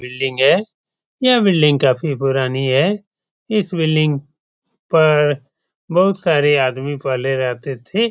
Building है। यह building काफी पुरानी है। इस बिल्डिंग पर बोहोत सारे आदमी पहले रहते थे।